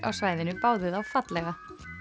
á svæðinu báðu þá fallega